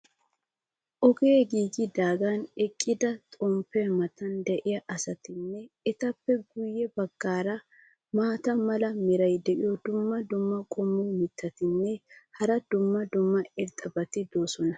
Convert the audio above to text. Ogee giigidaagan eqqidi xomppiya matan diya asatinne etappe guye bagaara maata mala meray diyo dumma dumma qommo mitattinne hara dumma dumma irxxabati de'oosona.